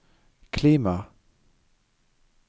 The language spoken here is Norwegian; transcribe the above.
klima